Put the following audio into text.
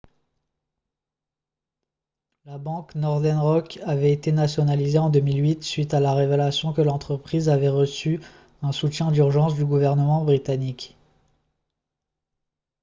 la banque northern rock avait été nationalisée en 2008 suite à la révélation que l'entreprise avait reçu un soutien d'urgence du gouvernement britannique